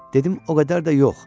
Dedim o qədər də yox.